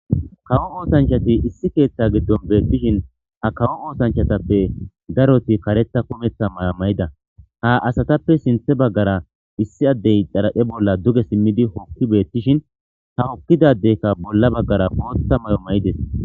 Kawo oothanchati issi keetha giddon beetishin ha kawo oothanchatappe daroti,karetha kumetha maya mayida. Ha asatappe sinthe baggara issi addey xaraphe bolla duge simmidi hokki beetishin,ha hokkida addeyka bolla baggara bootha mayo mayidees.